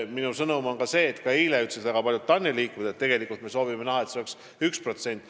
Minu sõnum on sama, mida eile ütlesid ka väga paljud TAN-i liikmed: tegelikult me soovime näha, et teadusrahastus oleks 1%.